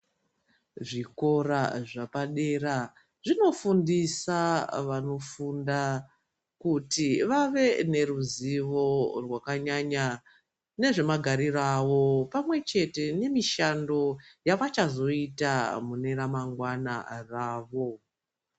Zvikora zvapadera zvinofundisa vanofunda kuti vave neruzivo rwakanyanya nezvemagariro avo pamwe chete nemishando yavachazoita pane ramangwana ravo.